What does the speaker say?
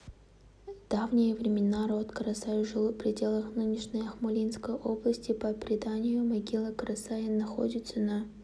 давние времена род карасай жил пределах нынешней акмолинской области по преданию могила карасая находится на